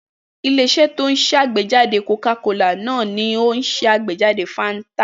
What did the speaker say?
Ilé-iṣẹ́ tó ń ṣàgbéjáde Coca-Cola náà ni ó ṣàgbéjáde Fanta.